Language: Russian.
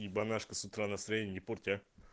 ебонашка с утра настроение не порть а